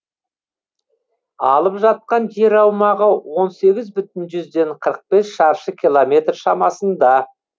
алып жатқан жер аумағы он сегіз бүтін жүзден қырық бес шаршы километр шамасында